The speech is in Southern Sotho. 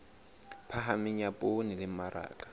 phahameng ya poone le mmaraka